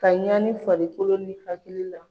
Ka ɲaani farikolo ni hakili la.